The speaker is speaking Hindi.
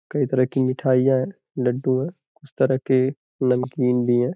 कई तरह की मिठाइयां हैं लड्डू है। कुछ तरह के नमकीन भी हैं।